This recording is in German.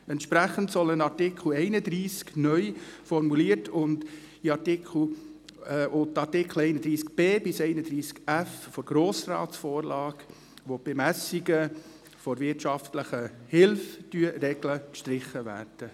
Entsprechend soll ein Artikel 31 neu formuliert und die Artikel 31b–31f der Grossratsvorlage, welche die Bemessung der wirtschaftlichen Hilfe regeln, sollen gestrichen werden.